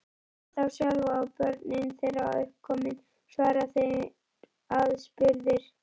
Fyrir þá sjálfa, og börnin þeirra uppkomin, svara þeir aðspurðir.